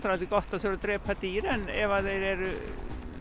aldrei gott að þurfa að drepa dýr en ef þeir eru